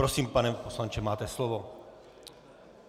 Prosím, pane poslanče, máte slovo.